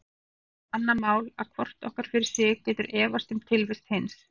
Hitt er svo annað mál að hvort okkar fyrir sig getur efast um tilvist hins.